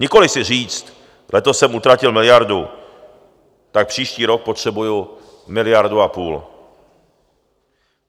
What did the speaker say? Nikoli si říct: letos jsem utratil miliardu, tak příští rok potřebuji miliardu a půl.